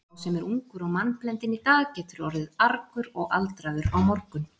Sá sem er ungur og mannblendinn í dag getur orðið argur og aldraður á morgun.